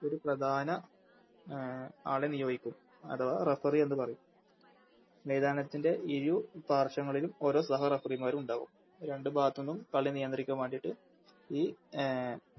ഒര് പ്രധാന അഹ് ആളെ നിയോഗിക്കും അഥവാ Referee എന്ന് പറയും മൈതാനത്തിൻറെ ഇരു പാർശ്വങ്ങളിലും ഓരോ സഹ Referee മാരുണ്ടാകും രണ്ട് ഭാഗത്ത്ന്നും കളി നിയന്തിക്കാൻ വാണ്ടിറ്റ് ഈ അഹ്